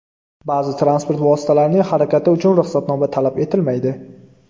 Ba’zi transport vositalarining harakati uchun ruxsatnoma talab etilmaydi .